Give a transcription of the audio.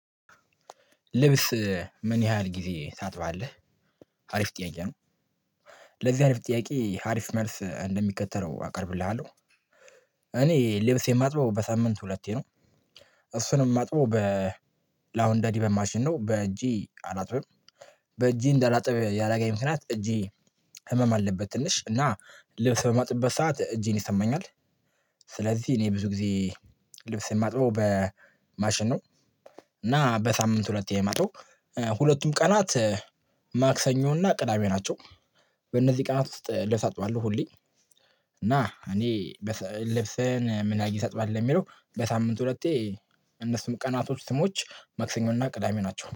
ልብስ ምን ያህል ጊዜ ታጥባለህ? አሪፍ ጥያቄ ነው። ለዚህ አሪፍ ጥያቄ አሪፍ መልስ እንደሚከተለው አቀርብልሃለሁ። እኔ ልብስ የማጥበው በሳምንት ሁለቴ ነው። እሱንም ማጥበው በ ላውንደሪ በማሽን ነው። በእጄ አላጥብም። በእጄ እንዳላጥብ ያደረገኝ ምክንያት እጄ ህመም አለበት ትንሽ እና ልብስ በማጥብበት ሰዓት እጄን ይሰማኛል። ስለዚህ እኔ ብዙ ጊዜ ልብስ የማጥበው በማሽን ነው። እና በሳምንት ሁለቴ ነው የማጥበው። ሁለቱም ቀናት ማክሰኞ እና ቅዳሜ ናቸው። በእነዚህ ቀናት ውስጥ ልብስ አጥባለሁ ሁሌ፤ እና እኔ በ ልብሰን ምና ጊ ታጥባለህ የሚለው በሳምንት ሁለቴ እነሱም ቀናቶች ስሞች መክሰኞ እና ቅዳሜ ናቸው።